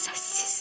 Səssiz.